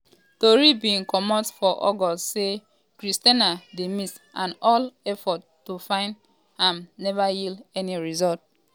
tori bin comot for august say christianah dey miss and all efforts to find um am neva yield any results.